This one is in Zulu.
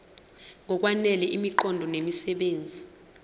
ngokwanele imiqondo nemisebenzi